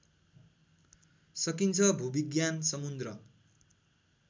सकिन्छ भूविज्ञान समुद्र